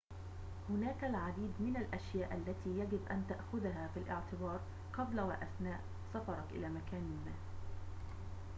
هناك العديد من الأشياء التي يجب أن تأخذها في الاعتبار قبل وأثناء سفرك إلى مكان ما